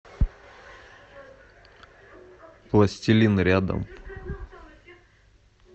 пластилин рядом